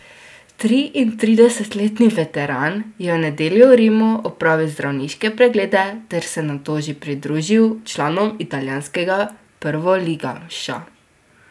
Triintridesetletni veteran je v nedeljo v Rimu opravil zdravniške preglede ter se nato že pridružil članom italijanskega prvoligaša.